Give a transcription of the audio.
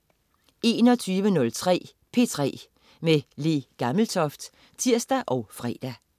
21.03 P3 med Le Gammeltoft (tirs og fre)